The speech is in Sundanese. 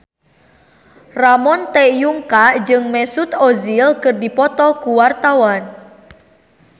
Ramon T. Yungka jeung Mesut Ozil keur dipoto ku wartawan